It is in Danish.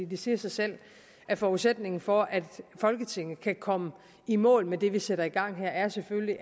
det siger sig selv at forudsætningen for at folketinget kan komme i mål med det vi sætter i gang her selvfølgelig